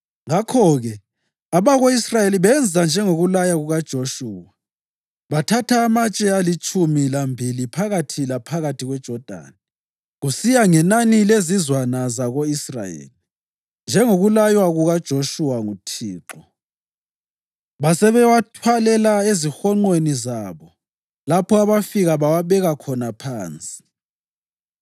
Ngakho-ke abako-Israyeli benza njengokulaya kukaJoshuwa. Bathatha amatshe alitshumi lambili phakathi laphakathi kweJodani, kusiya ngenani lezizwana zako-Israyeli, njengokulaywa kukaJoshuwa nguThixo; basebewathwalela ezihonqweni zabo lapho abafika bawabeka khona phansi.